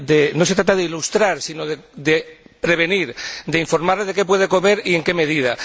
No se trata de ilustrar, sino de prevenir, de informarle de qué puede comer y en qué medida.